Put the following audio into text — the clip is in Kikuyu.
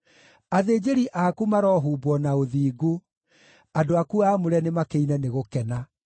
Athĩnjĩri aku marohumbwo na ũthingu; andũ aku aamũre nĩmakĩine nĩ gũkena.”